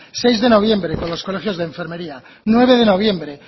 seis de noviembre con los colegios de enfermería nueve de noviembre